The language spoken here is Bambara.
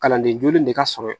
Kalanden joli in de ka sɔrɔ